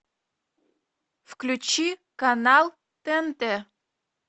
включи канал тнт